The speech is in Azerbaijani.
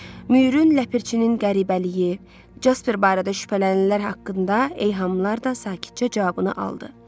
Müyürün Ləpirçinin qəribəliyi, Casper barədə şübhələnilər haqqında eyhamlar da sakitcə cavabını aldı.